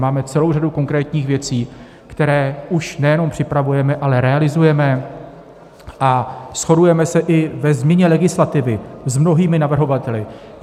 Máme celou řadu konkrétních věcí, které už nejenom připravujeme, ale realizujeme, a shodujeme se i ve změně legislativy s mnohými navrhovateli.